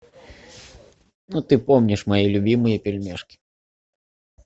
ну ты помнишь мои любимые пельмешки